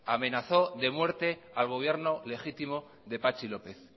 amenazó de muerte al gobierno legítimo de patxi lópez